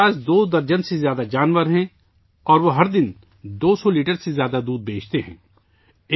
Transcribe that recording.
وسیم کے پاس دو درجن سے زیادہ مویشی ہیں اور وہ روزانہ دو سو لیٹر سے زیادہ دودھ فروخت کرتے ہیں